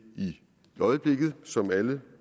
i øjeblikket som alle